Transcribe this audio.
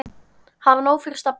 Hafa nóg fyrir stafni.